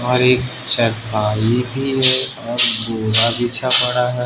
भारी चारपाई भी है और बोरा बिछा पड़ा है।